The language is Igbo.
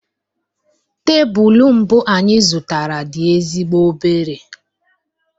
Tebụl mbụ anyị zụtara dị ezigbo obere